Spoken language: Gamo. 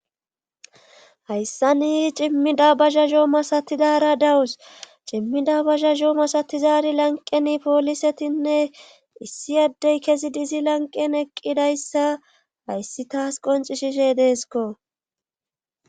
Hayssani cimmida bazazoo masatidara dawus cimmida bazhazoo masatizari lanqeni poolisetinne issi addey kezi dizi lanqen eqqidayssa hayssi taas qonci shishe deeskko